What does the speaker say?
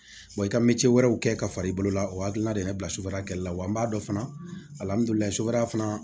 i ka mɛtiri wɛrɛw kɛ ka fara i bolo la o hakilina de ye ne bila sufɛla kɛla la wa an b'a dɔn fana alihamudulilayi sutura fana